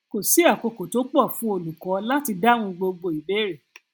kò sí àkókò tó pọ fún olùkọ láti dáhùn gbogbo ìbéèrè